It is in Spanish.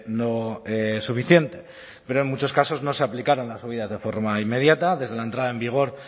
no suficiente pero en muchos casos no se aplicarán las subidas de forma inmediata desde la entrada en vigor